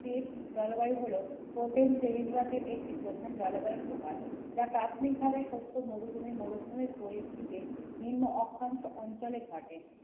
টিপ জলবায়ু হল ওপেন শ্রেণীবিভাগ এর একটি প্রধান জলবায়ুর প্রকার যা প্রাথমিকভাবে সত্য মরুভূমির মরুভূমির পরিস্থিতে নিম্ন অক্ষাংশ অঞ্চলে ঘটে।